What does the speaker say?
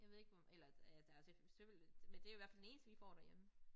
Jeg ved ikke eller øh der sikkert selvfølgelig men det i hvert fald den eneste vi får derhjemme